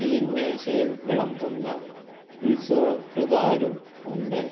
തീന്മേശയിൽ വിളമ്പുന്ന resort കാരും ഉണ്ട്